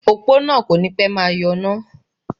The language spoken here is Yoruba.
Òpó náà kò ní pẹ́ máa yọ iná